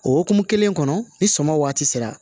O hukumu kelen kɔnɔ ni suman waati sera